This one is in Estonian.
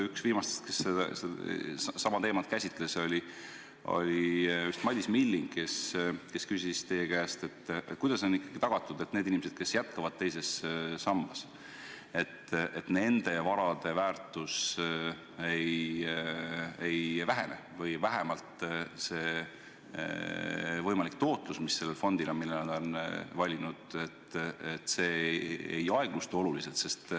Üks viimastest, kes seda teemat käsitles, oli Madis Milling, kes küsis teie käest, kuidas on tagatud, et nendel inimestel, kes jätkavad teises sambas, nende vara väärtus ei vähene või jääks vähemalt see tootlus, mis nende valitud fondil on.